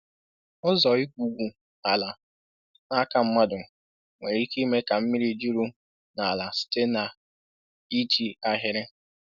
Ụzọ igwugwu ala n’aka mmadụ nwere ike ime ka mmiri juru n’ala site n’iji ahịrị